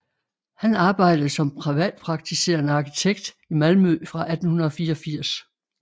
Han arbejdede som privatpraktiserende arkitekt i Malmø fra 1884